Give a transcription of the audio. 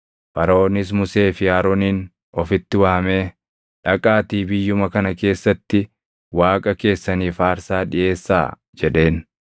Faraʼoonis Musee fi Aroonin ofitti waamee, “Dhaqaatii biyyuma kana keessatti Waaqa keessaniif aarsaa dhiʼeessaa” jedheen.